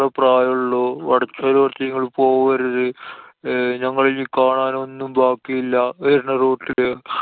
പ്രായോള്ളൂ. വടക്കേ road ല് നിങ്ങള് പോവരുത്. അഹ് ഞങ്ങള് ഇനി കാണാനൊന്നും ബാക്കില്ലാ. വരുന്ന route ല്.